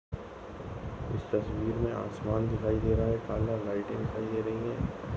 इस तस्वीर मे आसमान दिखाई दे रहा है काला लाइटे दिखाई दे रहे है।